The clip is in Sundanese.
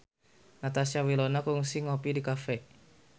Natasha Wilona kungsi ngopi di cafe